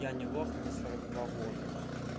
янелох мне сорок два года